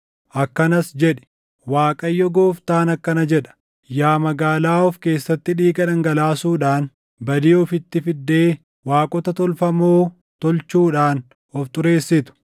akkanas jedhi: ‘ Waaqayyo Gooftaan akkana jedha: Yaa magaalaa of keessatti dhiiga dhangalaasuudhaan badii ofitti fiddee waaqota tolfamoo tolchuudhaan of xureessitu,